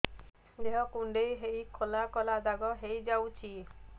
ଦେହ କୁଣ୍ଡେଇ ହେଇ କଳା କଳା ଦାଗ ହେଇଯାଉଛି